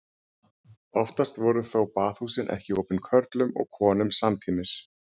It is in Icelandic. Oftast voru þó baðhúsin ekki opin körlum og konum samtímis.